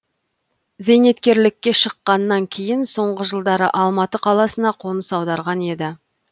зейнеткерлікке шыққаннан кейін соңғы жылдары алматы қаласына қоныс аударған еді